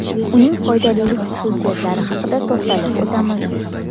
Uning foydalilik xususiyatlari haqida to‘xtalib o‘tamiz.